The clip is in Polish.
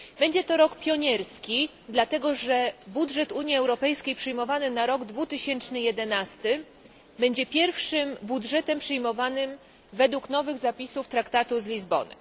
Będzie to rok pionierski, dlatego że budżet Unii Europejskiej przyjmowany na rok 2011 będzie pierwszym budżetem przyjmowanym według nowych zapisów traktatu z Lizbony.